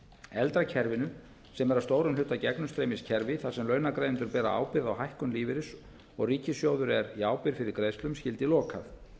eldra kerfinu sem er að stórum hluta gegnumstreymiskerfi þar sem launagreiðendur bera ábyrgð á hækkun lífeyris og ríkissjóður er í ábyrgð fyrir greiðslum skyldi lokað